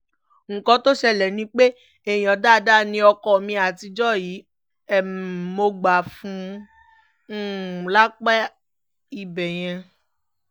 nǹkan tó ṣẹlẹ̀ ni pé èèyàn dáadáa ni ọkọ mi àtijọ́ yìí um mo gbà fún un um lápá ibẹ̀ yẹn